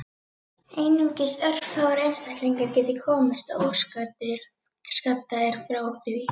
Einungis örfáir einstaklingar geti komist óskaddaðir frá því.